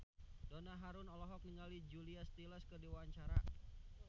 Donna Harun olohok ningali Julia Stiles keur diwawancara